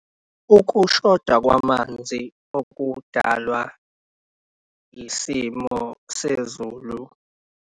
Ukushoda kwamanzi okudalwa isimo sezulu.